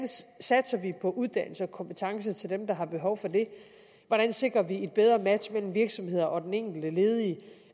satser vi på uddannelse og sikrer kompetence til dem der har behov for det hvordan sikrer vi et bedre match mellem virksomheder og den enkelte ledige